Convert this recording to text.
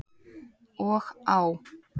Og á.